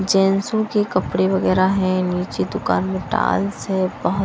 जैंसों के कपड़े वगैरह हैं नीचे दुकान में टाल्स है बहुत --